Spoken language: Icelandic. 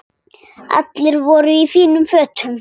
Allir voru í fínum fötum.